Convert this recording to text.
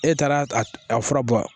E taara a a fura bɔ wa